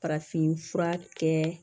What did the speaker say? Farafinfura kɛ